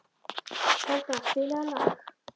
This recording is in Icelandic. Folda, spilaðu lag.